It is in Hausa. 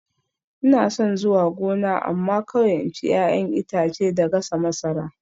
Ina son zuwa gona amma kawai in ci 'ya'yan itace da gasa masara